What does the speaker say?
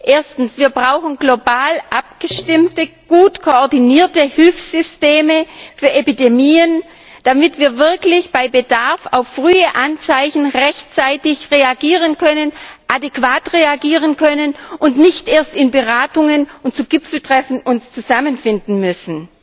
Erstens Wir brauchen global abgestimmte, gut koordinierte Hilfssysteme für Epidemien, damit wir wirklich bei Bedarf auf frühe Anzeichen rechtzeitig reagieren können, adäquat reagieren können, und uns nicht erst in Beratungen und zu Gipfeltreffen zusammenfinden müssen.